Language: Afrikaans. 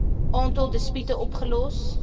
aantal dispute opgelos